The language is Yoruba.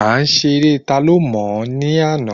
A ṣe eré ta ló mò ní àná